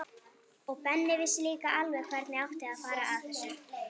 Og Benni vissi líka alveg hvernig átti að fara að þessu.